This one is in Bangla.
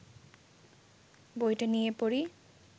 বইটা নিয়ে পড়ি